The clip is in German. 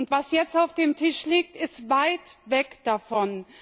Was jetzt auf dem Tisch liegt, ist weit weg davon.